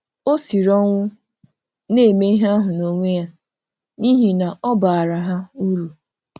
Ọ siri ọnwụ na-eme ihe ahụ n'onwe ya n'ihi na ọ baara ha uru.